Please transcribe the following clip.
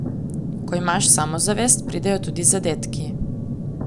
Ko imaš samozavest, pridejo tudi zadetki.